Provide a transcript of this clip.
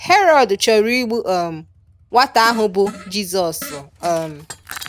Herod chọrọ igbu um nwata ahụ bụ Jizọs. um